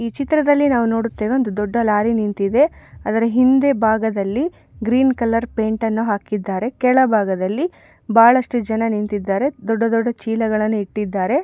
ಈ ಚಿತ್ರದಲ್ಲಿ ನಾವು ನೋಡುತೇವೆ ಒಂದು ದೊಡ್ಡ ಲಾರಿ ನಿಂತಿದೆ ಅದರ ಹಿಂದೆ ಭಾಗದಲ್ಲಿ ಗ್ರೀನ್ ಕಲರ್ ಪೇಂಟ್ ಅನ್ನು ಹಾಕಿದ್ದಾರೆ ಕೆಳಭಾಗದಲ್ಲಿ ಬಳಷ್ಟು ಜನ ನಿಂತಿದ್ದಾರೆ ದೊಡ್ಡ ದೊಡ್ಡ ಚೀಲಗಳನ್ನು ಇಟ್ಟಿದಾರೆ.